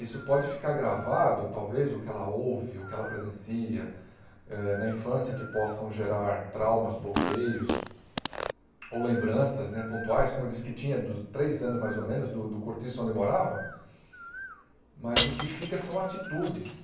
Isso pode ficar gravado, talvez, o que ela ouve, o que ela presencia, eh na infância, que possam gerar traumas, bloqueios, ou lembranças né pontuais, como eu disse que tinha dos três anos, mais ou menos, do do cortiço onde eu morava, mas o que fica são atitudes.